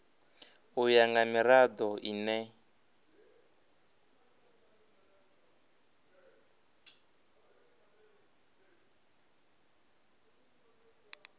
u ya nga mirado ine